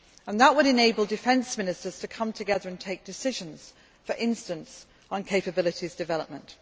That would enable Defence Ministers to come together and take decisions, for instance, on capabilities development.